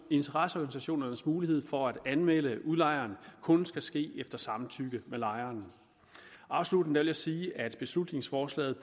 interesseorganisationernes mulighed for at anmelde udlejeren kun skal ske efter samtykke med lejeren afsluttende vil jeg sige at beslutningsforslaget